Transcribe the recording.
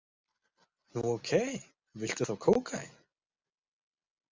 Nú, ókei, viltu þá kókaín?